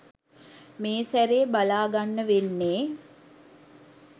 මේ සැරේ බලා ගන්න වෙන්නේ.